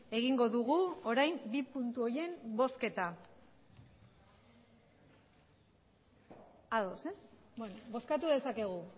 egingo dugu orain bi puntu horien bozketa ados ez bozkatu dezakegu